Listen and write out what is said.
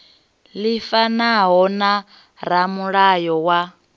ḽi fanaho na ramulayo wa